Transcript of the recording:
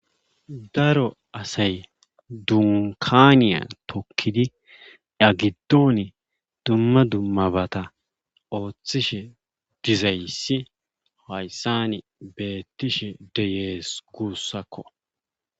Daro asay dunkkaaniya tookkidi iya giddon duma dummabata oothishe dizayssi hayssani beettishe de7ees guussako.